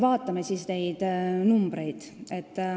Vaatame siis arve.